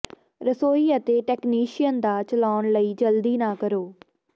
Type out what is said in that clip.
ਰਸੋਈ ਅਤੇ ਟੈਕਨੀਸ਼ੀਅਨ ਦਾ ਚਲਾਉਣ ਲਈ ਜਲਦੀ ਨਾ ਕਰੋ